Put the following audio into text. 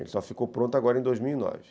Ele só ficou pronto agora em dois mil e nove